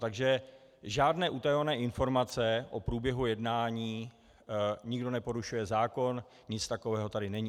Takže žádné utajované informace o průběhu jednání - nikdo neporušuje zákon, nic takového tady není.